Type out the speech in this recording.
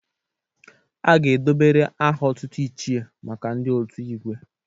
A ga-edobere aha otutu 'Ichie' maka ndị otu Igwe.